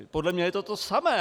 Podle mě je to to samé.